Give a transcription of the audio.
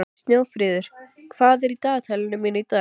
Snjófríður, hvað er í dagatalinu mínu í dag?